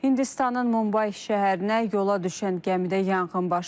Hindistanın Mumbay şəhərinə yola düşən gəmidə yanğın baş verib.